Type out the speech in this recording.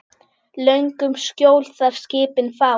Löngum skjól þar skipin fá.